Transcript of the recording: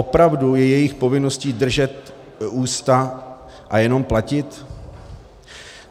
Opravdu je jejich povinností držet ústa a jenom platit?